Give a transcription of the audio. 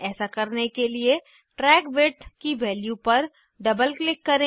ऐसा करने के लिए ट्रैक विड्थ की वैल्यू पर डबल क्लिक करें